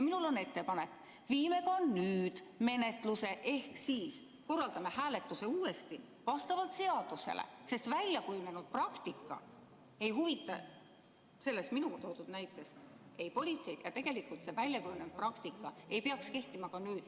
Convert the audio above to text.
Minul on ettepanek: viime ka nüüd läbi menetluse ehk korraldame uuesti hääletuse vastavalt seadusele, sest väljakujunenud praktika ei huvita selles minu toodud näites politseid ja tegelikult see väljakujunenud praktika ei peaks kehtima ka nüüd.